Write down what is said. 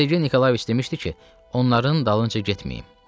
Sergey Nikolayeviç demişdi ki, onların dalınca getməyin.